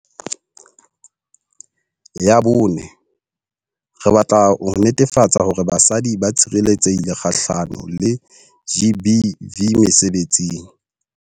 Ya bone, re batla ho netefatsa hore basadi ba tshireletsehile kgahlano le GBV mesebetsing.